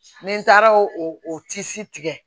Ni n taara o tigɛ